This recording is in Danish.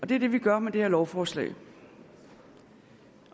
det er det vi gør med det her lovforslag